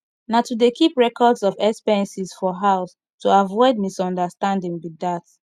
na to dey keep records of expenses for house to avoid misunderstanding be dat